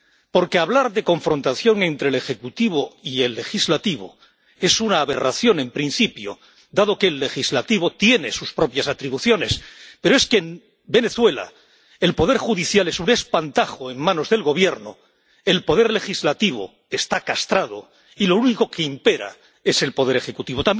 Porque hablar de confrontación entre el Ejecutivo y el Legislativo es una aberración, en principio, dado que el Legislativo tiene sus propias atribuciones, pero es que en Venezuela el Poder Judicial es un espantajo en manos del Gobierno, el Poder Legislativo está castrado y lo único que impera es el Poder Ejecutivo.